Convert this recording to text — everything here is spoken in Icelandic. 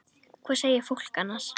Hvað segir fólk annars?